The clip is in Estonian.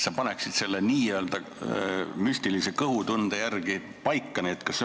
Ma palusin, et sa müstilise kõhutunde järgi paneksid ritta need põhjused.